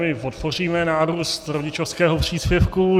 My podpoříme nárůst rodičovského příspěvku.